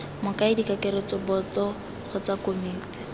mokaedi kakaretso boto kgotsa komiti